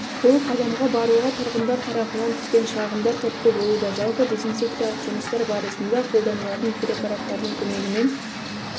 бұл қадамға баруға тұрғындар тарапынан түскен шағымдар түрткі болуда жалпы дезинсекциялық жұмыстар барысында қолданылатын препараттардың көмегімен